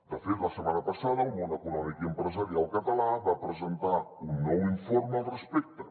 de fet la setmana passada el món econòmic i empresarial català va presentar un nou informe al respecte